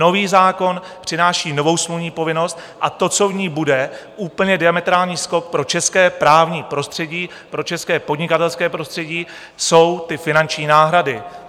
Nový zákon přináší novou smluvní povinnost a to, co v ní bude, úplně diametrální skok pro české právní prostředí, pro české podnikatelské prostředí, jsou ty finanční náhrady.